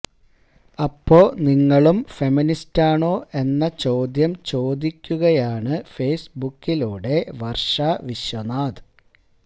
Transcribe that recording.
അപ്പോ നിങ്ങളും ഫെമിനിസ്റ്റാണോ എന്ന ചോദ്യം ചോദിക്കുകയാണ് ഫെയ്സ്ബുക്കിലൂടെ വര്ഷ വിശ്വനാഥ്